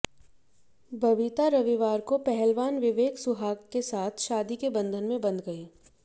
बबिता रविवार को पहलवान विवेक सुहाग के साथ शादी के बंधन में बंध गई